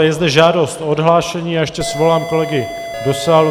Je zde žádost o odhlášení, já ještě svolám kolegy do sálu.